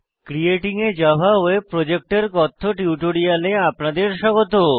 creating a Java web project এর কথ্য টিউটোরিয়ালে আপনাদের স্বাগত